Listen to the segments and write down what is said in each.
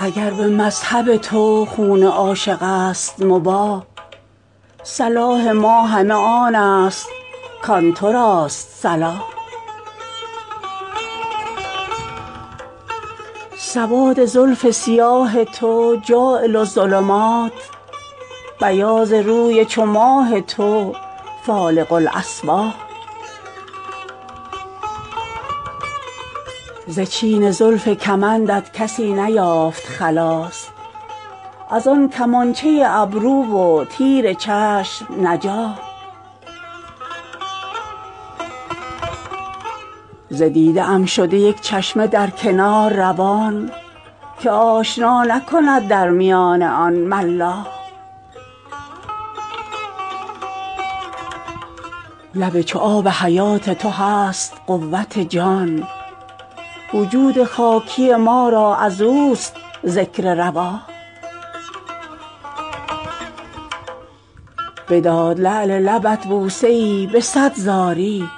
اگر به مذهب تو خون عاشق است مباح صلاح ما همه آن است کآن تو راست صلاح سواد زلف سیاه تو جاعل الظلمات بیاض روی چو ماه تو فالق الأصباح ز چین زلف کمندت کسی نیافت خلاص از آن کمانچه ابرو و تیر چشم نجاح ز دیده ام شده یک چشمه در کنار روان که آشنا نکند در میان آن ملاح لب چو آب حیات تو هست قوت جان وجود خاکی ما را از اوست ذکر رواح بداد لعل لبت بوسه ای به صد زاری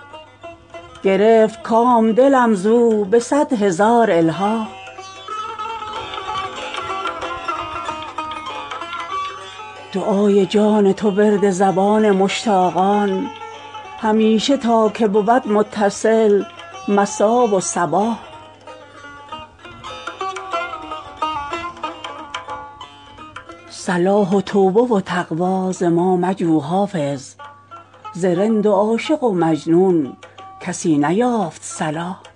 گرفت کام دلم زو به صد هزار الحاح دعای جان تو ورد زبان مشتاقان همیشه تا که بود متصل مسا و صباح صلاح و توبه و تقوی ز ما مجو حافظ ز رند و عاشق و مجنون کسی نیافت صلاح